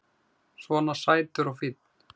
Svona sætur og fínn!